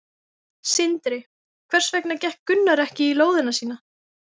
Sindri: Hvers vegna fékk Gunnar ekki lóðina sína?